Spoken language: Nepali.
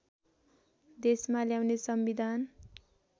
देशमा ल्याउने संविधान